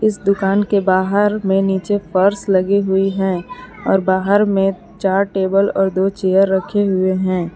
इस दुकान के बाहर में नीचे फर्श लगा हुई है और बाहर में चार टेबल और दो चेयर रखें हुए हैं।